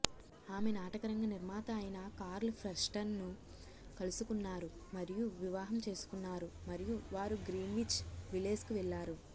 ఆమె నాటకరంగ నిర్మాత అయిన కార్ల్ ఫ్రెస్టన్ను కలుసుకున్నారు మరియు వివాహం చేసుకున్నారు మరియు వారు గ్రీన్విచ్ విలేజ్కు వెళ్లారు